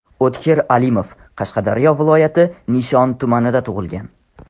O‘tkir Alimov Qashqadaryo viloyati Nishon tumanida tug‘ilgan.